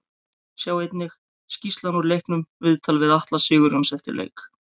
Sjá einnig: Skýrslan úr leiknum Viðtal við Atla Sigurjóns eftir leik